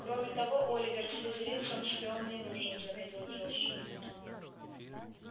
кроме того оливер слизеринцам шпион не нужен заметил джордж